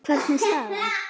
Hver er staðan?